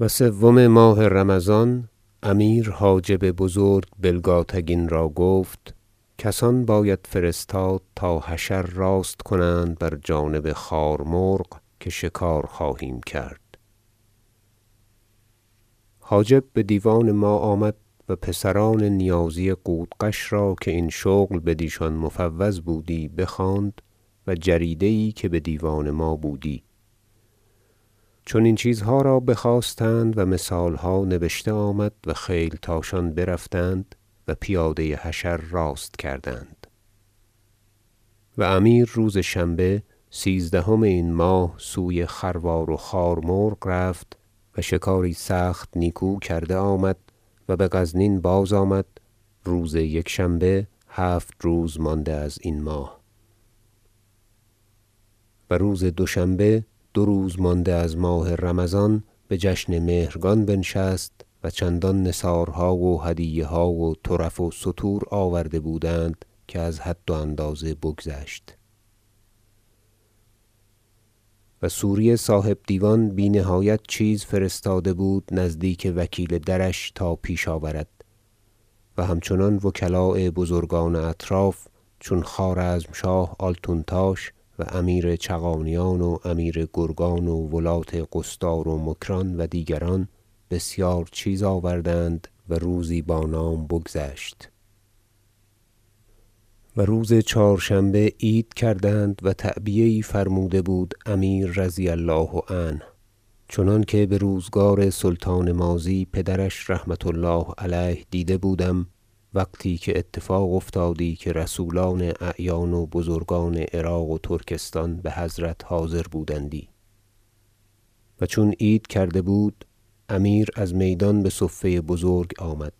و سوم ماه رمضان امیر حاجب بزرگ بلگاتگین را گفت کسان باید فرستاد تا حشر راست کنند بر جانب خار مرغ که شکار خواهیم کرد حاجب بدیوان ما آمد و پسران نیازی قودقش را که این شغل بدیشان مفوض بودی بخواند و جریده یی که بدیوان ما بودی چنین چیزها را بخواستند و مثالها نبشته آمد و خیلتاشان برفتند و پیاده حشر راست کردند و امیر روز شنبه سیزدهم این ماه سوی خروار و خار مرغ رفت و شکاری سخت نیکو کرده آمد و بغزنین باز آمد روز یکشنبه هفت روز مانده ازین ماه جشن مهرگان و عید رمضان و روز دوشنبه دو روز مانده از ماه رمضان بجشن مهرگان بنشست و چندان نثارها و هدیه ها و طرف و ستور آورده بودند که از حد و اندازه بگذشت و سوری صاحب دیوان بی نهایت چیزی فرستاده بود نزدیک وکیل درش تا پیش آورد همچنان وکلاء بزرگان اطراف چون خوارزمشاه آلتونتاش و امیر چغانیان و امیر گرگان و ولات قصدار و مکران و دیگران بسیار چیز آوردند و روزی با نام بگذشت و روز چهارشنبه عید کردند و تعبیه یی فرموده بود امیر رضی الله عنه چنانکه بروزگار سلطان ماضی پدرش رحمة الله علیه دیده بودم وقتی که اتفاق افتادی که رسولان اعیان و بزرگان عراق و ترکستان بحضرت حاضر بودندی و چون عید کرده بود امیر از میدان بصفه بزرگ آمد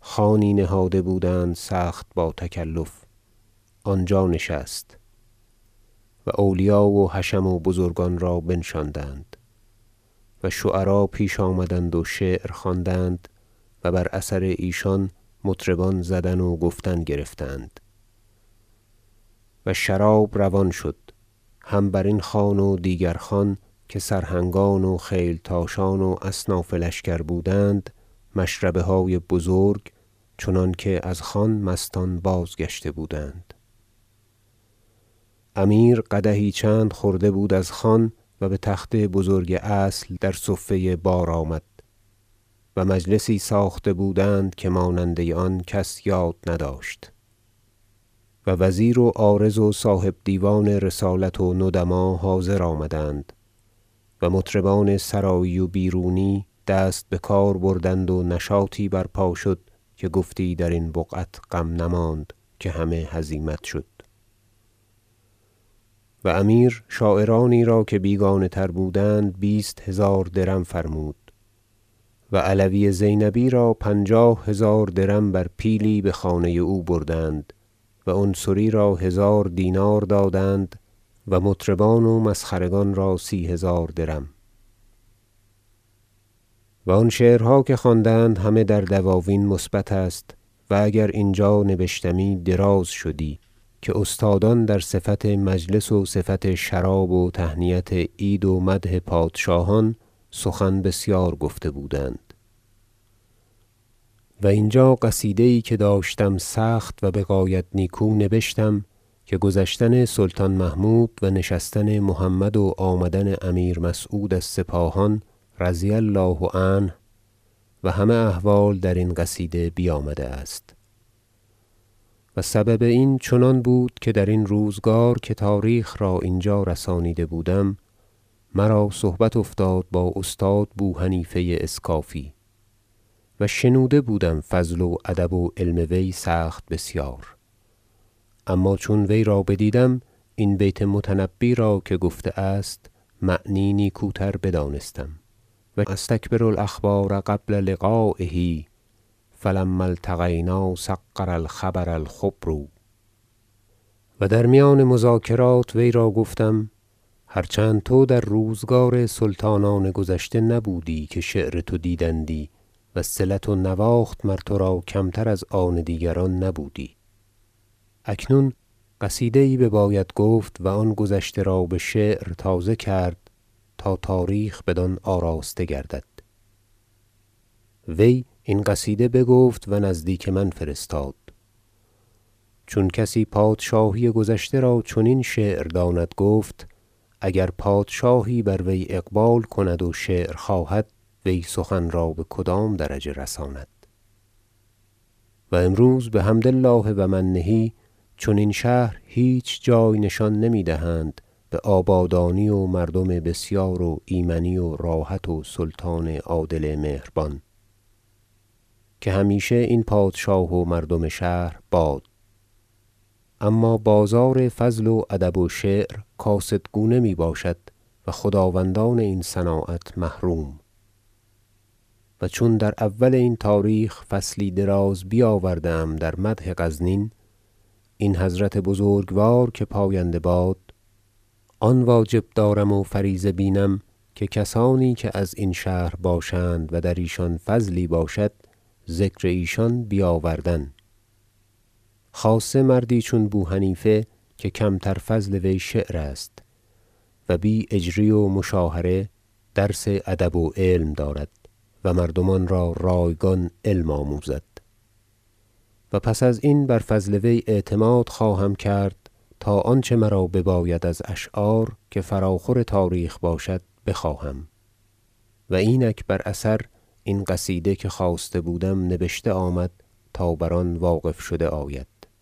خوانی نهاده بودند سخت با تکلف آنجا نشست و اولیا و حشم و بزرگان را بنشاندند و شعرا پیش آمدند و شعر خواندند و بر اثر ایشان مطربان زدن و گفتن گرفتند و شراب روان شد هم برین خوان و دیگر خوان که سرهنگان و خیلتاشان و اصناف لشکر بودند مشربه های بزرگ چنانکه از خوان مستان باز گشته بودند امیر قدحی چند خورده بود از خوان و بتخت بزرگ اصل در صفه بار آمد و مجلسی ساخته بودند که ماننده آن کس یاد نداشت و وزیر و عارض و صاحب دیوان رسالت و ندما حاضر آمدند و مطربان سرایی و بیرونی دست بکار بردند و نشاطی برپا شد که گفتی درین بقعت غم نماند که همه هزیمت شد و امیر شاعرانی را که بیگانه تر بودند بیست هزار درم فرمود و علوی زینبی را پنجاه هزار درم بر پیلی بخانه او بردند و عنصری را هزار دینار دادند و مطربان و مسخرگان را سی هزار درم و آن شعرها که خواندند همه در دواوین مثبت است و اگر اینجا نبشتمی دراز شدی که استادان در صفت مجلس و صفت شراب و تهنیت عید و مدح پادشاهان سخن بسیار گفته بودند و اینجا قصیده یی که داشتم سخت و بغایت نیکو نبشتم که گذشتن سلطان محمود و نشستن محمد و آمدن امیر مسعود از سپاهان رضی الله عنه و همه احوال در این قصیده بیامده است و سبب این چنان بود که درین روزگار که تاریخ را اینجا رسانیده بودم مرا صحبت افتاد با استاد بوحنیفه اسکافی و شنوده بودم فضل و ادب و علم وی سخت بسیار اما چون وی را بدیدم این بیت متنبی را که گفته است معنی نیکوتر بدانستم شعر و أستکبر الأخبار قبل لقایه فلما التقینا صغر الخبر الخبر و در میان مذاکرات وی را گفتم هر چند تو در روزگار سلطانان گذشته بودی که شعر تو دیدندی وصلت و نواخت مر ترا کمتر از آن دیگران نبودی اکنون قصیده یی بباید گفت و آن گذشته را بشعر تازه کرد تا تاریخ بدان آراسته گردد وی این قصیده بگفت و نزدیک من فرستاد چون کسی پادشاهی گذشته را چنین شعر داند گفت اگر پادشاهی بر وی اقبال کند و شعر خواهد وی سخن را بکدام درجه رساند و امروز بحمد الله و منه چنین شهر هیچ جای نشان نمیدهند بآبادانی و مردم بسیار و ایمنی و راحت و سلطان عادل مهربان که همیشه این پادشاه و مردم شهرباد اما بازار فضل و ادب و شعر کاسدگونه می باشد و خداوندان این صناعت محروم و چون در اول این تاریخ فصلی دراز بیاوردم در مدح غزنین این حضرت بزرگوار که پاینده باد آن واجب دارم و فریضه بینم که کسانی که از این شهر باشند و در ایشان فضلی باشد ذکر ایشان بیاوردن خاصه مردی چون بو حنیفه که کمتر فضل وی شعر است و بی اجری و مشاهره درس ادب و علم دارد و مردمان را رایگان علم آموزد و پس از این بر فضل وی اعتماد خواهم کرد تا آنچه مرا بباید از اشعار که فراخور تاریخ باشد بخواهم قصیده ابو حنیفه و اینک بر اثر این قصیده که خواسته بودم نبشته آمد تا بر آن واقف شده آید